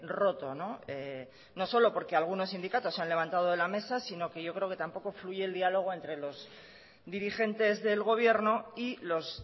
roto no solo porque algunos sindicatos se han levantado de la mesa sino que yo creo que tampoco fluye el diálogo entre los dirigentes del gobierno y los